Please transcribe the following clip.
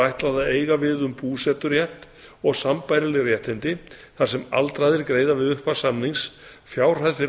ætlað að eiga við um búseturétt og sambærileg réttindi þar sem aldraðir greiða við upphaf samnings fjárhæð fyrir